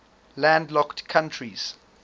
landlocked countries